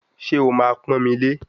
Ṣé o máa pọ́n mi lé